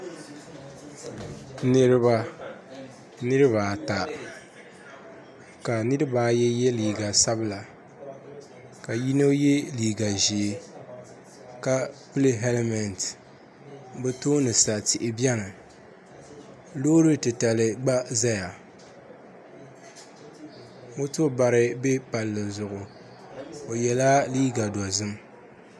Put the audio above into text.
Niraba ata ka niraba ayi yɛ liiga sabila ka yino yɛ liiga ʒiɛ ka pili hɛlmɛnt bi tooni sa tihi biɛni loori titali gba ʒɛya moto bari bɛ palli zuɣu o yɛla liiga dozim